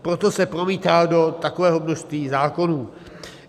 Proto se promítá do takového množství zákonů.